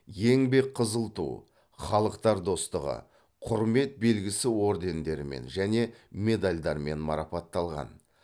еңбек қызыл ту халықтар достығы құрмет белгісі ордендерімен және медальдармен марапатталған